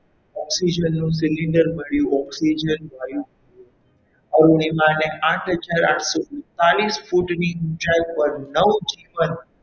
oxygen નું cylinder મળ્યું oxygen વાયુ અરુણિમા ને આઠ હજાર આઠસો ને ઓગણપચાસ ની ફૂટની ઊંચાઈ પર નવજીવન,